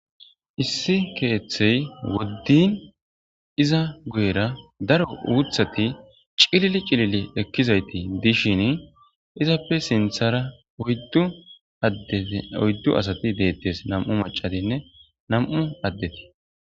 Issi keethey woddin iza guyera daro uuthati cilili cilili ekkizayti dishin izappe sinthara oyddu asati deettes nam7u macatinne nam7u addeti